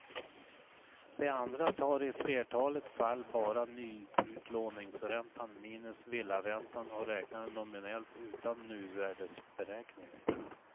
De andra tar i flertalet fall bara nyutlåningsräntan minus villaräntan och räknar nominellt utan nuvärdesberäkning.